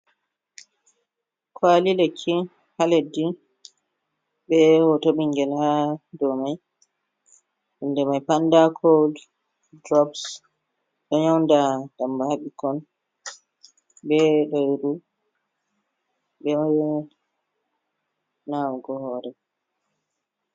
Kwali lekki ha leddi be hoto bingel ha dou mai inde mai panda kuld durups ɗo nyauda damba ha ɓikkon, be redu, be nawugo hore.